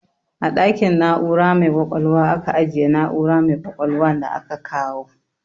A ɗakin na'ura mai ƙwaƙwalwa aka ajiye na'ura mai ƙwaƙwalwa da aka kawo.